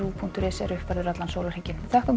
punktur is er uppfærður allan sólarhringinn takk